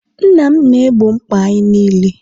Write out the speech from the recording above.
nna m na-egbo mkpa anyị niile